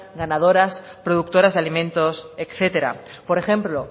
ganaderas productoras de alimentos etcétera por ejemplo